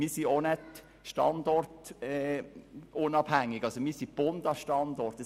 Wir sind auch nicht standortunabhängig, sondern an unseren Standort gebunden.